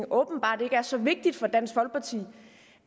åbenbart ikke er så vigtigt for dansk folkeparti